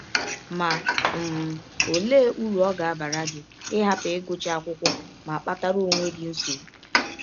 Ma, um ọlee ụrụ ọ ga - abara gị ịhapụ ịgụcha akwụkwọ ma kpatara ọnwe gị nsọgbụ?